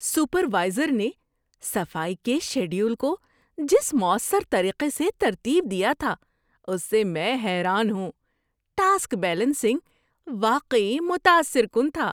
Supervisor نے صفائی کے شیڈول کو جس مؤثر طریقے سے ترتیب دیا تھا، اس سے میں حیران ہوں! ٹاسک بیلنسنگ واقعی متاثر کن تھا۔